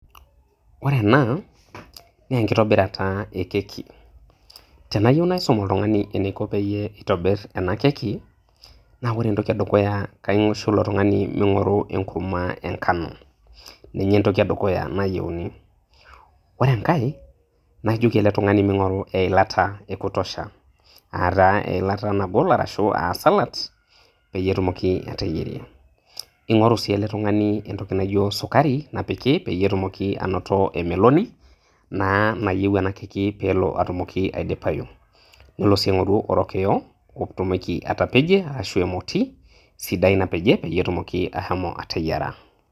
Ore ena naa enkitobirata e keki .Tenayieu naisum oltungani peyie itobir ena keki ,ore entoki edukuya kaisho ilo tungani mingoru enkurma enkano, ninye entoki edukuya nayieuni . Ore enkae na ijoki ele tungani mingoru eilata ekutosha, aa taa eilata nagol ashu salad peyie etumoki ateyierie, ingoru sii ele tungani entoki naijo sukari ,napiki peyie etumoki anoto emeloni naa nayieu ena keki peyie etumoki aidipayu . Nelo sii aingoru orokiyo peyie etumoki atepejie ashu emoti sidai napejie peyie etumoki ashomo ateyiera .